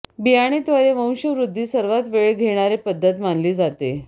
बियाणे द्वारे वंशवृध्दी सर्वात वेळ घेणारे पद्धत मानली जाते